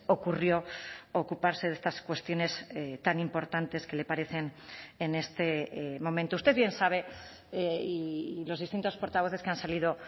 ocurrió ocuparse de estas cuestiones tan importantes que le parecen en este momento usted bien sabe y los distintos portavoces que han salido